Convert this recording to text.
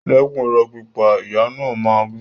Dẹ́kun ìrọ́ pípa! Ìyá náà máa ń wí.